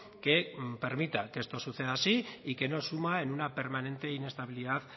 que permita que esto suceda así y que no suma en una permanente inestabilidad